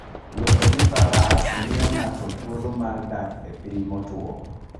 Wuotho gi Faras miyo ng'ato thuolo mar dak e piny motwo.